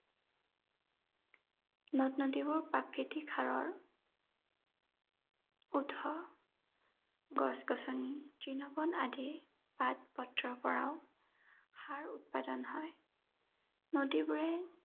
নদ-নদীবোৰ প্ৰাকৃতিক সাৰৰ উৎস। গছ-গছনি, তৃণ বন আদিৰ পাত পত্ৰৰ পৰাও সাৰ উৎপাদন হয়। নদীবোৰে